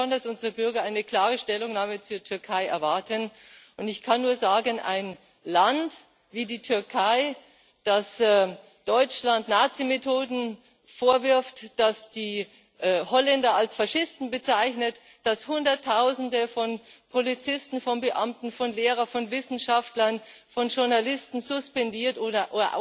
Ich glaube schon, dass unsere Bürger eine klare Stellungnahme zur Türkei erwarten. Ich kann nur sagen, ein Land wie die Türkei, das Deutschland Nazimethoden vorwirft, das die Holländer als Faschisten bezeichnet, das Hunderttausende von Polizisten, von Beamten, von Lehrern, von Wissenschaftlern, von Journalisten suspendiert oder